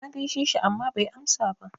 Na gaishe shi amma bai amsa ba.